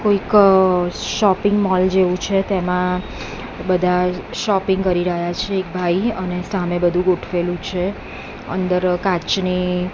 કોઈક shopping mall જેવુ છે તેમા બધા શોપિંગ કરી રહ્યા છે એક ભાઈ અને સામે બધુ ગોઠવેલું છે અંદર કાચની--